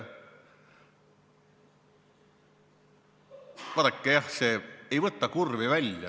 Vaadake, jah, see ei võta kurvi välja.